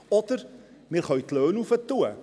Oder: Wir können die Löhne erhöhen.